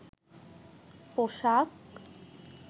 পোশাক